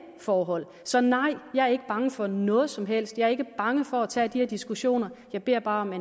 forhold så nej jeg er ikke bange for noget som helst jeg er ikke bange for at tage de her diskussioner jeg beder bare